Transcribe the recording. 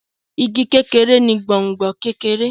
Ìgi kékeré ni gbòngbò kekere.